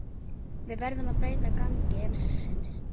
Við verðum að breyta gangi málsins.